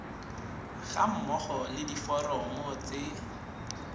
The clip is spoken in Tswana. ga mmogo le diforomo tse